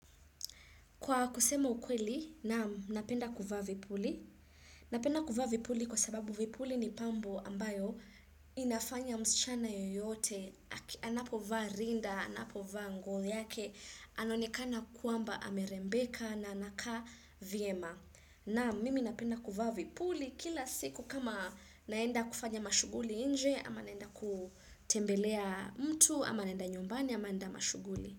Kwa kusema ukweli, naam, napenda kuvaa vipuli. Napenda kuvaa vipuli kwa sababu vipuli ni pambo ambayo inafanya msichana yoyote. Anapovaa rinda, anapovaa nguo yake, anaenekana kwamba amerembeka na anakaa vyema. Naam, mimi napenda kuvaa vipuli kila siku kama naenda kufanya mashughuli nje, ama naenda kutembelea mtu, ama naenda nyumbani, ama naenda mashughuli.